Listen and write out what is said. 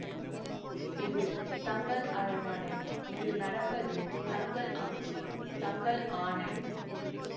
இது தங்கள் அரண்மனை இங்கு நடப்பது தங்கள் ஆட்சி தங்கள் ஆணை